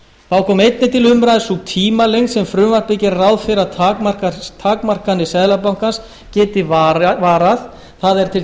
þá kom einnig til umræðu sú tímalengd sem frumvarpið gerir ráð fyrir að takmarkanir seðlabankans geti varað það er til